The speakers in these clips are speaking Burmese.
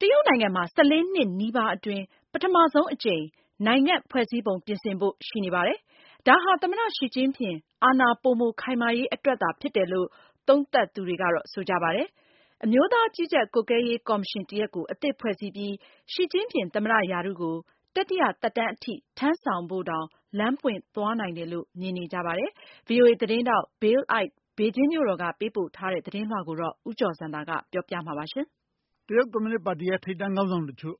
တရုတ်နိုင်ငံမှာ ၁၄နှစ် နီးပါးအတွင်း ပထမဆုံးအကြိမ် နိုင်ငံ့ဖွဲ့စည်းပုံပြင်ဆင်ဖို့ရှိနေပါတယ် ဒါဟာ သမ္မတ Xi Jinping အာဏာပိုမိုခိုင်မာရေးအတွက်သာဖြစ်တယ်လို့ သုံးသပ်သူတွေက ဆိုကြပါတယ်။ အမျိုးသားကြီးကြပ်ကွပ်ကဲရေးကော်မရှင် တရပ်ကို အသစ်ဖွဲ့စည်းပြီး Xi Jinping သမ္မတရာထူးကို တတိယသက်တမ်းအထိ ထမ်းဆောင်ဖို့တောင် လမ်းပွင့်သွားနိုင်တယ်လို့ မြင်နေကြပါတယ်။ ဗွီအိုအေသတင်းထောက် Bill Ide ဘေဂျင်းမြို့တော်က သတင်းပေးပို့ထားတဲ့ သတင်းလွှာကိုတော့ ဦးကျော်ဇံသာက တင်ပြထားပါတယ်။ တရုတ်ကွန်မြူနစ်ပါတီရဲ့ ထိပ်တန်း ခေါင်းဆောင်တချို့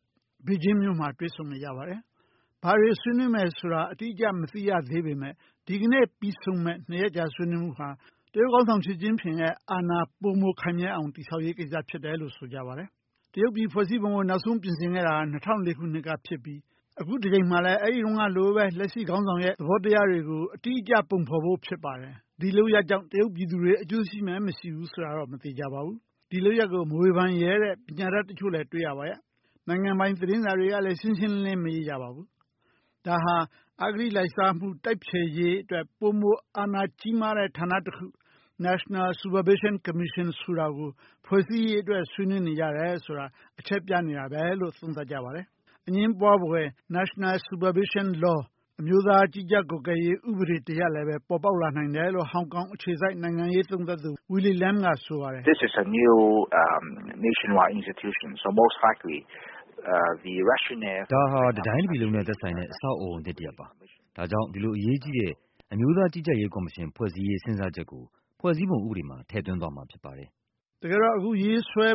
ဘေဂျင်းမြို့တော်မှာ တွေ့ဆုံနေကြပါတယ်။ ဘာတွေဆွေးနွေးမယ်ဆိုတာ အတိအကျမသိရသေးပေမဲ့ ဒီကနေ့ပြီးဆုံးမယ့် နှစ်ရက်တာ ဆွေးနွေးမှုမှာ တရုတ်ခေါင်းဆောင် Xi Jinping ရဲ့ အာဏာပိုမိုခိုင်မြဲအောင် တည်ဆောက်ရေးကိစ္စဖြစ်တယ်လို့ ဆိုကြပါတယ်။ တရုတ်ပြည်ရဲ့ဖွဲ့စည်းပုံကို နောက်ဆုံးပြင်ဆင်ခဲ့တာ ၂၀၀၄ ခုနှစ်ကဖြစ်ပြီး အခုတကြိမ်မှာလည်း အဲ့ဒီ့တုန်းကလိုပဲ လက်ရှိခေါင်းဆောင်ရဲ့သဘောတရားတွေကို အတိအကျပုံဖော်ဖို့ဖြစ်ပါတယ်။ ဒီလုပ်ရပ်ကြောင့် တရုတ်ပြည်သူတွေ အကျိုးရှိမယ် မရှိဘူးဆိုတာတော့ မသေချာပါဘူး။ ဒီလုပ်ရပ်ကို မဝေဖန်ရဲတဲ့ ပညာတတ်တချို့လည်း တွေ့ရပါရဲ့။ နိုင်ငံပိုင်သတင်းစာတွေကလည်း ရှင်းရှင်းလင်းလင်း မရေးကြပါဘူး။ ဒါဟာ အဂတိလိုက်စားမှု တိုက်ဖျက်ရေးအတွက် ပိုမိုအာဏာကြီးမားတဲ့ ဌာနတခု National Supervision Commission ဆိုတာကို ဖွဲ့စည်းရေးအတွက် ဆွေးနွေးနေကြတယ်ဆိုတာ အချက်ပြနေတာပဲ လို့ သုံးသပ်ကြပါတယ်။ အငြင်းပွားဖွယ် National Supervision Law အမျိုးသားကြီးကြပ်ကွပ်ကဲရေးဥပဒေတရပ်လည်း ပေါ်ပေါက်လာနိုင်တယ်လို့ ဟောင်ကောင် အခြေစိုက် နိုင်ငံရေးသုံးသပ်သူ Willy Lam က ဆိုပါတယ်။ "ဒါဟာ တတိုင်းတပြည်လုံးနဲ့ ဆိုင်တဲ့ အဆောက်အဦးသစ်တရပ်ပါ။ ဒါကြောင့် ဒီလိုအရေးကြီးတဲ့ အမျိုးသားကြီးကြပ်ရေးကော်မရှင်ဖွဲ့စည်းရေး စဉ်းစားချက်ကို ဖွဲ့စည်းပုံဥပဒေမှာ ထည့်သွင်းသွားမှာဖြစ်ပါတယ်။" တကယ်တော့ အခုရေးဆွဲ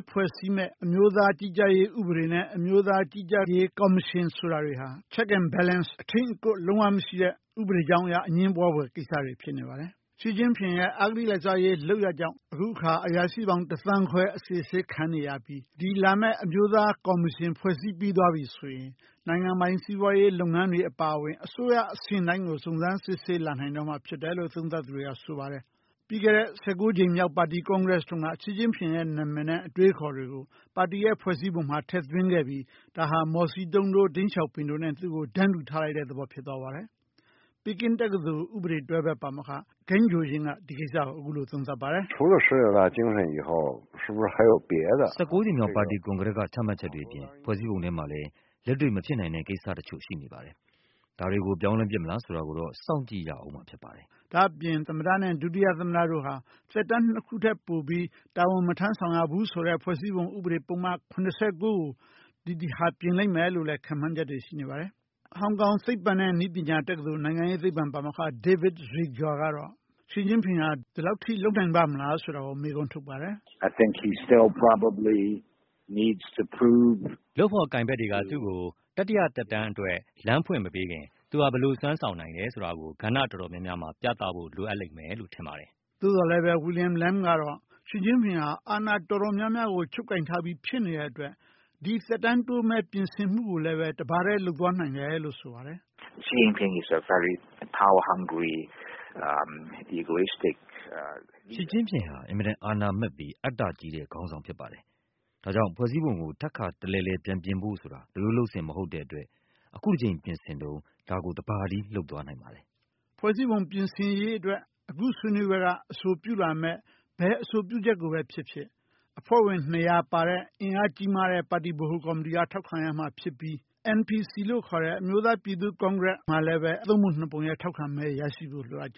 မယ့် အမျိုးသားကြီးကြပ်ရေးဥပဒေနဲ့ အမျိုးသားကြီးကြပ်ရေးကော်မရှင် ဆိုတာတွေဟာ checks and balances အထိန်းအကွပ်လုံးဝ မရှိတဲ့ ဥပဒေကြောင်းအရ အငြင်းပွားဖွယ် ကိစ္စတွေဖြစ်နေပါတယ်။ Xi Jinping ရဲ့ အဂတိလိုက်စားမှု တိုက်ဖျက်ရေး လုပ်ရပ်ကြောင့် အခုအခါ အရာရှိပေါင်း တစ်သန်းခွဲ အစစ်အဆေးခံနေရပြီး ဒီလာမယ့် အမျိုးသားကော်မရှင် ဖွဲ့စည်းပြီးသွားပြီ ဆိုရင် နိုင်ငံပိုင်စီးပွားရေး လုပ်ငန်းတွေအပါအဝင် အစိုးရအဆင့်တိုင်းကို စုံစမ်း စစ်ဆေးလာနိုင်တော့မှာဖြစ်တယ်လို့ သုံးသပ်သူတွေက ဆိုပါတယ်။ ပြီးခဲ့တဲ့ ၁၉ကြိမ်မြောက် ပါတီကွန်ကရက်တုန်းက Xi Jinpingရဲ့ နာမည်နဲ့ အတွေးအခေါ်တွေကို ပါတီရဲ့ဖွဲ့စည်းပုံမှာ ထည့်သွင်းခဲ့ပြီး ဒါဟာ မော်စီတုန်းတို့ တိန့်ရှောင်ဖိန်တို့နဲ့ သူ့ကို တန်းတူထားလိုက်တဲ့သဘောဖြစ်သွားပါတယ်။ ပီကင်းတက္ကသိုလ်တွဲဖက်ပါမောက္ခ Gan Chaoying က ဒီကိစ္စကို အခုလိုသုံးသပ်ပါတယ်။ " ၁၉ကြိမ်မြောက် ပါတီကွန်ကရက်က ချမှတ်ချက်တွေအပြင် ဖွဲ့စည်းပုံထဲမှာလည်း လက်တွေ့မဖြစ်နိုင်တဲ့ ကိစ္စတချို့ရှိနေပါတယ်။ ဒါတွေကို ပြောင်းလဲပစ်မလား ဆိုတာကိုတော့ စောင့်ကြည့်ရဦးမှာဖြစ်ပါတယ်။ " ဒါ့အပြင် သမ္မတနဲ့ ဒုတိယသမ္မတတို့ဟာ သက်တမ်းနှစ်ခုထက်ပိုပြီး တာဝန် မထမ်းဆောင်ရဘူးဆိုတဲ့ ဖွဲ့စည်းပုံအခြေခံဥပဒေပုဒ်မ ၇၉ကို ဒီတခါပြင်လိမ့်မယ်လို့လည်း ခန့်မှန်းချက်တွေ ရှိနေပါတယ်။ ဟောင်ကောင်သိပ္ပံနဲ့ နည်းပညာတက္ကသိုလ် နိုင်ငံရေးသိပ္ပံပါမောက္ခ David Zweig ကတော့ Xi Jinping ဟာ ဒီလောက်အထိ လုပ်နိုင်ပါ့မလား ဆိုတာကို မေးခွန်းထုတ်ပါတယ်။ " လုပ်ဖော်ကိုင်ဖက်တွေက သူ့ကို တတိယသက်တမ်းအတွက် လမ်းဖွင့်မပေးခင် သူဟာ ဘယ်လိုစွမ်းဆောင်နိုင်တယ်ဆိုတာကို ကဏ္ဍတော်တော်များများမှာ ပြသဖို့ လိုအပ်လိမ့်မယ်လို့ထင်ပါတယ်။ " သို့သော်လည်းပဲ Willy Lam ကတော့ Xi Jinping ဟာ အာဏာတော်တော်များများကို ချုပ်ကိုင်ထားပြီးဖြစ်နေတဲ့အတွက် ဒီသက်တမ်းတိုးမယ့် ပြင်ဆင်မှုကိုလည်းပဲ တပါတည်းလုပ်သွားနိုင်တယ်လို့ဆိုပါတယ်။ "Xi Jinping ဟာ အင်မတန်အာဏာမက်ပြီး အတ္တကြီးတဲ့ ခေါင်းဆောင်ဖြစ်ပါတယ်။ ဒါေြ ကာင့်မို့လို့ ဖွဲ့စည်းပုံကို ထပ်ခါတလဲလဲ ပြန်ပြင်ဖို့ဆိုတာ လုပ်ရိုးလုပ်စဉ်မဟုတ်တဲ့အတွက် အခုတကြိမ်ပြင်ဆင်တုန်း ဒါကိုတပါတည်း လုပ်သွားနိုင်ပါတယ်။" ဖွဲ့စည်းပုံပြင်ဆင်ရေးအတွက် အခုဆွေးနွေးပွဲက အဆိုပြုလာမယ့် ဘယ်အဆိုပြုချက် ကိုပဲဖြစ်ဖြစ် အဖွဲ့ ၂၀၀ပါတဲ့ အင်အားကြီးမားတဲ့ ဗဟိုကော်မတီက ထောက်ခံရမှာဖြစ်ပြီး National People’s Congress (NPC)လို့ခေါ်တဲ့ အမျိုးသားပြည်သူ့ကွန်ကရက်မှာလည်းပဲ သုံးပုံနှစ်ပုံရဲ့ ထောက်ခံမဲ ရရှိဖို့ လိုအပ်ကြ